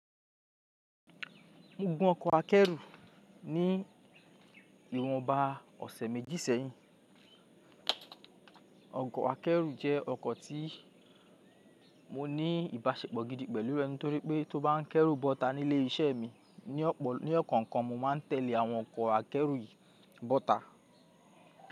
Mo gun ọkọ̀ akẹ́rù ní ìwọ̀nba ọ̀sẹ̀ méjì sẹ́yìn. Ọkọ̀ akẹ́rù jẹ́ ọkọ̀ tí mo ní ìbáṣepọ̀ gidi pẹ̀lú rẹ̀ nítorí pé tó bá ń kẹ́rù bọ́ta nílé iṣẹ́ mi ní ọ̀kọ̀ọ̀kan, mo máa tẹ̀lé àwọn ọkọ̀ akẹ́rù yìí bọ́ta.